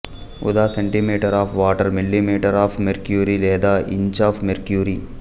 ఉదా centimetre of water millimetre of mercury లేదా inch of mercury